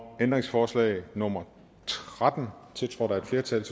ændringsforslag nummer tretten tiltrådt af et flertal